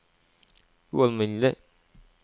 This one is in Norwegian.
ualminnelig